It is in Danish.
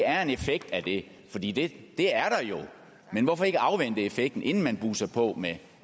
er en effekt af det fordi det er der jo men hvorfor ikke afvente effekten inden man buser på med